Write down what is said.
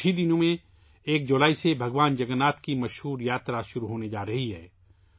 ابھی کچھ دنوں میں یکم جولائی سے بھگوان جگن ناتھ کی مشہور یاترا شروع ہونے والی ہے